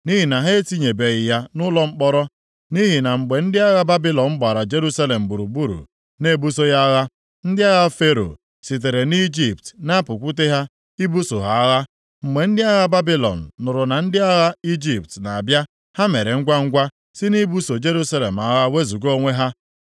Nʼihi na mgbe ndị agha Babilọn gbara Jerusalem gburugburu na-ebuso ya agha, ndị agha Fero sitere Ijipt na-apụkwute ha ibuso ha agha. Mgbe ndị agha Babilọn nụrụ na ndị agha Ijipt na-abịa, ha mere ngwangwa si nʼibuso Jerusalem agha wezuga onwe ha.